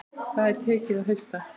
Það er tekið að hausta.